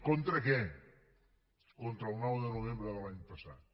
contra què contra el nou de novembre de l’any passat